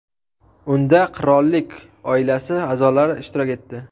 Unda qirollik oilasi a’zolari ishtirok etdi.